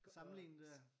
Sammenligne det?